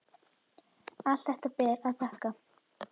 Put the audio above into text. Allt þetta ber að þakka.